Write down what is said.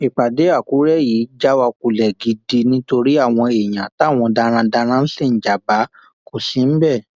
ìpàdé àkùrẹ yìí já wa kulẹ gidi nítorí àwọn èèyàn táwọn darandaran ń ṣe níjàmbá kò sí níbẹ